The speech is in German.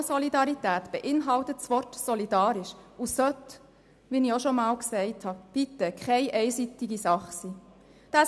Generationensolidarität beinhaltet das Wort solidarisch und sollte keine einseitige Sache sein.